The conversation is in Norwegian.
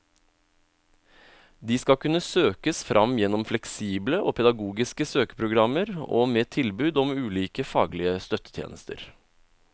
De skal kunne søkes fram gjennom fleksible og pedagogiske søkeprogrammer og med tilbud om ulike faglige støttetjenester.